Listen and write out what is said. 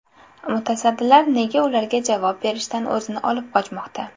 Mutasaddilar nega ularga javob berishdan o‘zini olib qochmoqda?.